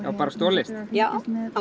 bara stolist já